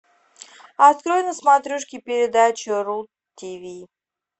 открой на смотрешке передачу ру тв